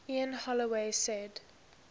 ian holloway said